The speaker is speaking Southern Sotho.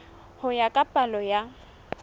ho ya ka palo ya